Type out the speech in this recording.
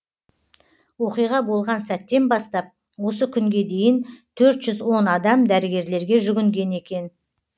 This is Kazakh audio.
оқиға болған сәттен бастап осы күнге дейін төрт жүз он адам дәрігерлерге жүгінген екен